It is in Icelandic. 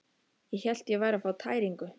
Ég hélt ég væri að fá tæringu.